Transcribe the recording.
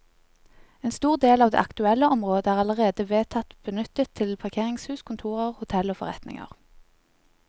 En stor del av det aktuelle området er allerede vedtatt benyttet til parkeringshus, kontorer, hotell og forretninger.